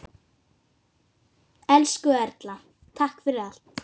Elsku Erla, takk fyrir allt.